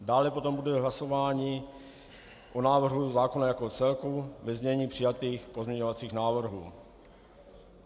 Dále potom bude hlasování o návrhu zákona jako celku ve znění přijatých pozměňovacích návrhů.